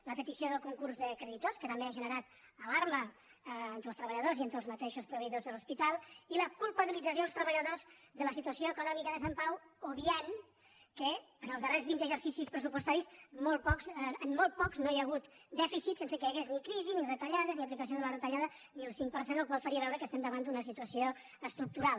la petició del concurs de creditors que també ha ge·nerat alarma entre els treballadors i entre els mateixos proveïdors de l’hospital i la culpabilització als treba·lladors de la situació econòmica de sant pau ob viant que en els darrers vint exercicis pressupostaris en molt pocs no hi ha hagut dèficit sense que hi hagués ni crisi ni retallades ni aplicació de les retallades ni el cinc per cent la qual cosa faria veure que estem davant d’una situació estructural